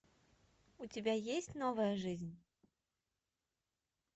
у тебя есть новая жизнь